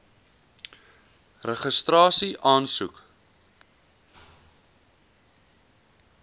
registrasieaansoek